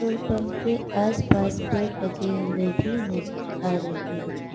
Petrol pump के आसपास पेड़ लगे हुए भी नजर आ रहे हैं।